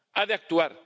Ha de actuar.